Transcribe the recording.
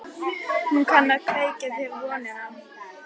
Hún kann að kveikja þér vonina.